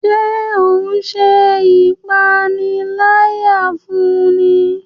Ṣe o n ṣe ipanilaya fún ní?